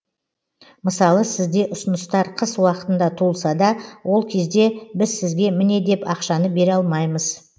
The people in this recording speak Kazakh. мысалы сізде ұсыныстар қыс уақытында туылса да ол кезде біз сізге міне деп ақшаны бере алмаймыз